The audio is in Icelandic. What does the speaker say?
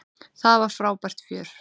Það var frábært fjör.